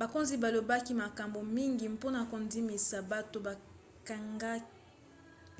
bakonzi balobaki makambo mingi mpona kondimisa bato bakangi